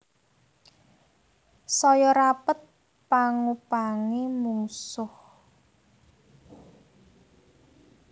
Saya rapet pangupangé mungsuh